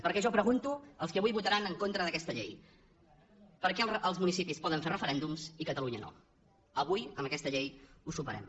perquè jo pregunto als que avui votaran en contra d’aquesta llei per què els municipis poden fer referèndums i catalunya no avui amb aquesta llei ho superem